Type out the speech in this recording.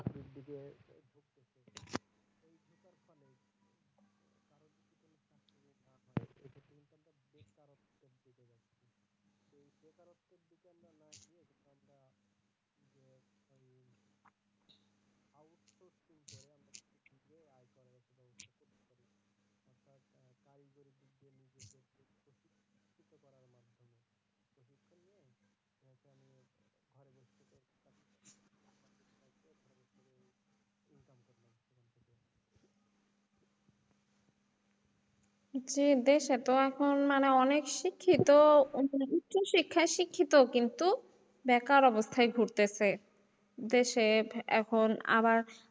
জি বেশ এতো এখন মানে অনেক শিক্ষিত, উচ্চ শিক্ষায় শিক্ষিত কিন্তু বেকার অবস্থায় ঘুরতেছে দেশে এখন আবার,